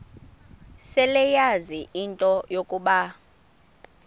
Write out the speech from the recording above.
seleyazi into yokuba